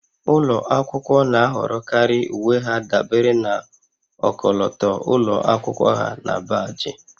Ụlọ akwụkwọ na-ahọrọkarị uwe ha dabere na ọkọlọtọ ụlọ akwụkwọ ha na baajị